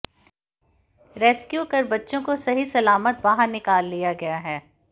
rescue कर बच्चों को सही सलामत बाहर निकाल लिया गया है